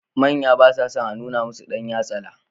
Manya ba sa son a nuna musu dan yatsala.